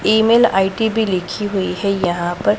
Email I D भी लिखी हुईं हैं यहां पर।